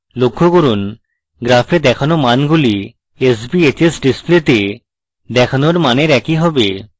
লক্ষ্য করুন graph দেখানো মানগুলি sbhs ডিসপ্লেতে দেখানো মানের একই হবে